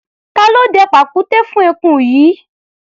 Ta ló dẹ pàkúté fún eku yìí?